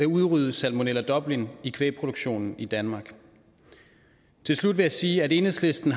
udrydde salmonella dublin i kvægproduktionen i danmark til slut vil jeg sige at enhedslisten